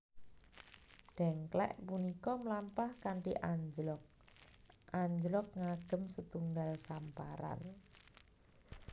Dèngklèk punika mlampah kanthi anjlog anjlog ngagem setunggal samparan